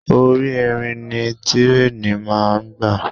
Orí irin ni tírèènì máa ń gbà.